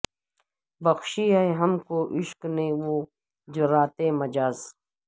بخشی ہیں ہم کو عشق نے وہ جراتیں مجاز